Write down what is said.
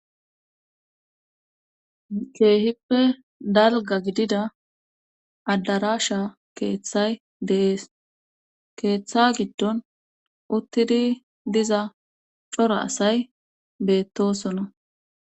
keehippe dalga gidida addarasha keeththay deees keeththa giddon uttidi diza cora asay beettosona